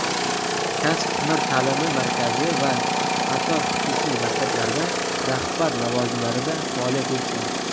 kasb-hunar ta’limi markazi va qator xususiy maktablarda rahbar lavozimlarida faoliyat yuritgan.